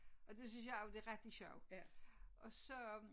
Og det synes jeg jo det rigtig sjovt og så